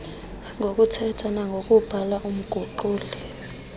ngokuthetha nangokubhala umguquli